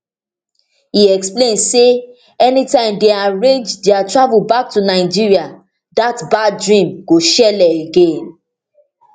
e explain say anytime dem arrange dia travel back to nigeria dat bad dream go shelle again